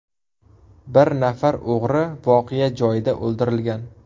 Bir nafar o‘g‘ri voqea joyida o‘ldirilgan.